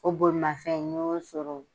O bolimanfɛn n y'o sɔrɔ